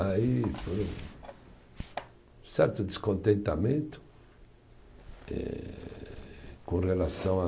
Aí, foi um certo descontentamento eh com relação a